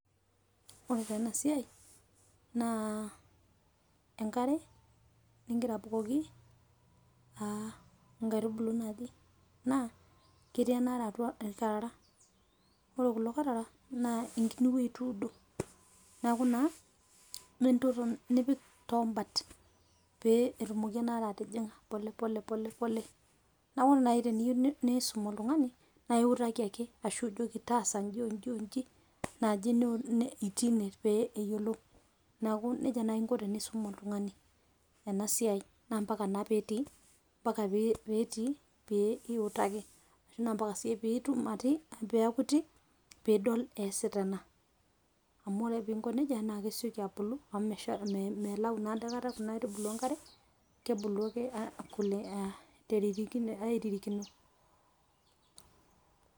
Ore taa ena siai naa enkare ingira abukoki aa nkaitubulu naji . naa ketii enaare atua irkarara .ore kulo karara naa enkini wuei ituudo . niaku naa nipik toombat pee etumoki enaare atijinga polepole. niaku ore nai tiniyieu nisum oltungani naa iutaki ake ashu ijoki taasa inji onji naji itii ine peyie eyiolou niaku nejia naji inko tenisum oltungani ena siai naa mpaka naa petii ,mpaka petii pee iutaki na mpaka siyie piiti pidol easita ena amu ore ake pinko nejia naa kesioki abulu amu melayu naa dake kuna aitubulu enkare ,kebulu ake aa teririkino.